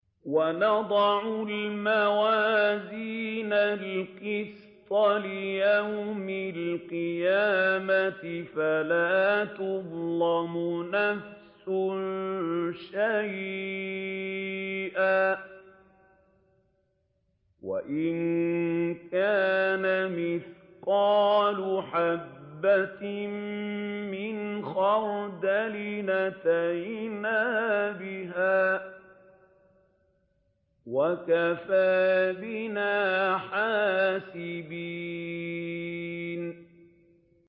وَنَضَعُ الْمَوَازِينَ الْقِسْطَ لِيَوْمِ الْقِيَامَةِ فَلَا تُظْلَمُ نَفْسٌ شَيْئًا ۖ وَإِن كَانَ مِثْقَالَ حَبَّةٍ مِّنْ خَرْدَلٍ أَتَيْنَا بِهَا ۗ وَكَفَىٰ بِنَا حَاسِبِينَ